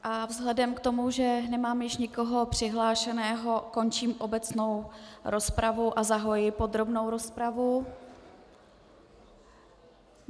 A vzhledem k tomu, že nemám již nikoho přihlášeného, končím obecnou rozpravu a zahajuji podrobnou rozpravu.